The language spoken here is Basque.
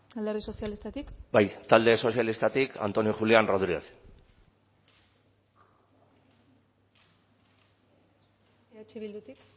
alderdi sozialistatik bai talde sozialistatik antonio julián rodríguez eh bildutik